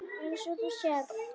Eins og þú sérð.